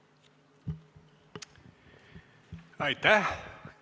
Aitäh!